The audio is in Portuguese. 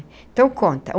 Então, conta.